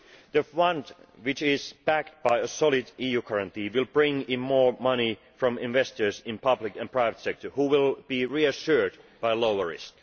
The fund, which is backed by a solid EU guarantee, will bring in more money from investors in the public and private sector, who will be reassured by a lower risk.